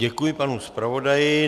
Děkuji panu zpravodaji.